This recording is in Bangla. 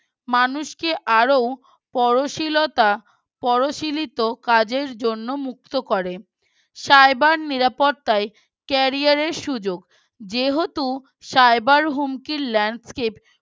মানুষকে আরো পরশিলতা পরশিলি তো কাজের জন্য মুক্ত করে cyber নিরাপত্তাই Career এর সুযোগ যেহেতু Cyber হুমকির Landscape